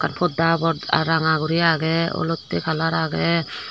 podda habor ranga guri aage olotte colour aage.